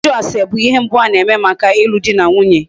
Ịjụ ase bụ ihe mbụ a na-eme maka alụ dị na nwunye.